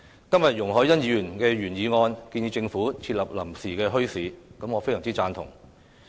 今天，容海恩議員的原議案建議政府設立臨時墟市，我非常贊同。